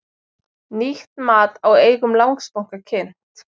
Nýtt mat á eigum Landsbanka kynnt